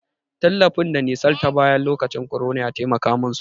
Tallafin da nisal ta bayar lokacin korona ya taimaka mun sosai.